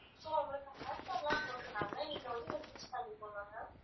so உங்களுக்கு offer லாம் போட்டுருக்காங்க நீங்க வந்து use பண்ணிக்கோங்க ma'am